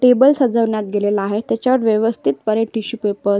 table सजवण्यात गेलेला आहे त्याच्यात व्यवस्थितपणे टिशू पेपरस --